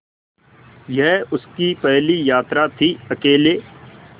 यह उसकी पहली यात्रा थीअकेले